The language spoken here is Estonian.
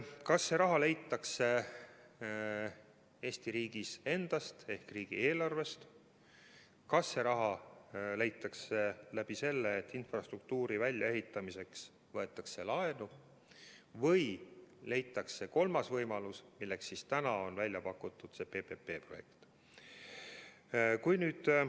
Kas see raha leitakse Eesti riigist endast ehk riigieelarvest või see raha leitakse nii, et infrastruktuuri väljaehitamiseks võetakse laenu, või leitakse kolmas võimalus, milleks on välja pakutud see PPP-projekt?